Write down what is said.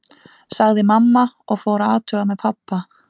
sagði mamma og fór að athuga með pabba.